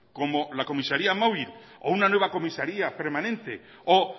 como la comisaría móvil o una nueva comisaría permanente o